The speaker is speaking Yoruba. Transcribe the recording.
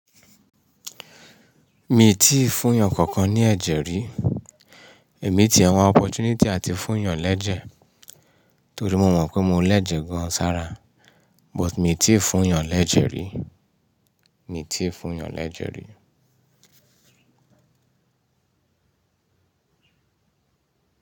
Mi ò tíì fún eeyàn kankan ní ẹ̀jẹ̀ rí. Èmi ti àwọn opportunity àti fún yàn lẹ́ejẹ̀ torí mo mọ̀ pé mo lẹ́jẹ̀ gan sára but mi ò tíì fún yàn lẹ́jẹ̀ rí. Mi ò tíì fún yàn lẹ́jẹ̀ rí.